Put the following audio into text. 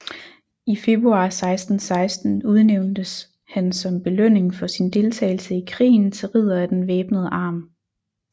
I februar 1616 udnævntes han som belønning for sin deltagelse i krigen til ridder af den væbnede arm